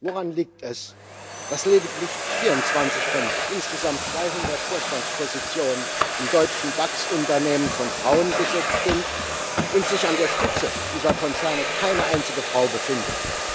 Woran liegt es, dass lediglich 24 von insgesamt 200 Vorstandspositionen in deutschen DAX Unternehmen von Frauen besetzt sind und sich an der Spitze dieser Konzerne keine einzige Frau befindet?